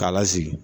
K'a lasigi